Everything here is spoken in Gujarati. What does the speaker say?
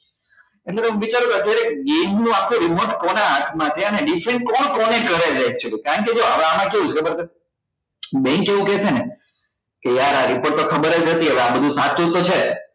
એટલે તમે વિચારો કે અત્યારે game નું આખું remote કોના હાથ માં છે અને કોણ કોને કરે છે actually કારણ કે જો હવે આમાં કેવું છે ખબર છે bank એવું કે છે ને કે યાર આ report તો ખબર જ નથી હવે આ બધું સાચું તો છે